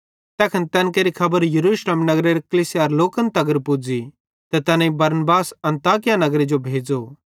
तैखन तैन केरि खबर यरूशलेम नगरेरे कलीसियारे लोकन तगर पुज़ी ते तैनेईं बरनबास अन्ताकिया नगरे जो भेज़ो